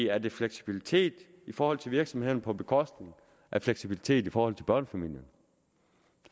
er det fleksibilitet i forhold til virksomhederne på bekostning af fleksibilitet i forhold til børnefamilierne